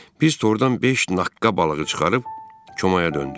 Biz tordan beş naqqa balığı çıxarıb komaya döndük.